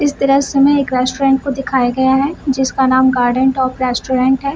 इस दृश्य में एक रेस्टोरेंट को दिखाया गया है जिसका नाम गार्डन टॉप रेस्टोरेंट है।